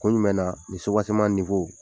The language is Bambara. Kun jumɛn na nin suwaseman ninfo ko